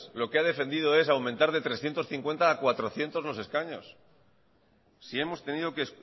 lo que ha defendido es aumentar de trescientos cincuenta a cuatrocientos los escaños si hemos tenido que